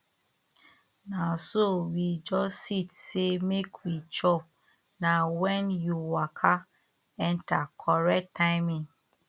na so we just sit say make we chop na when you waka enter correct timing